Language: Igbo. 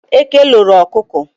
Eke loro ọkụkọ.